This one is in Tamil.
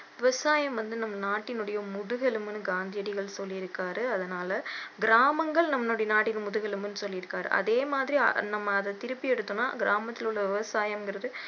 விவசாயம் வந்து நம்ம நாட்டினுடைய முதுகெலும்புன்னு காந்தியடிகள் சொல்லிருக்காரு அதனால கிராமங்கள் நம்மளுடைய நாட்டின் முதுகெலும்புன்னு சொல்லிருக்காரு அதே மாதிரி நம்ம அதை திருப்பி எடுத்தோம்னா கிராமத்திலுள்ள விவசாயங்கறது